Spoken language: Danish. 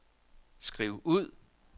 skriv ud